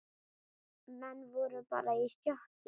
Menn voru bara í sjokki.